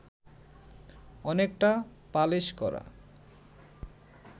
অনেকটা পালিশ করা